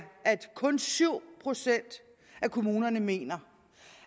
at kun syv procent af kommunerne mener